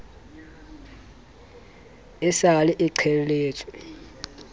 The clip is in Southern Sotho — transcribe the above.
e sa le e qheletswe